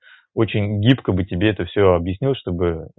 очень гибко бы тебе это все объяснил чтобы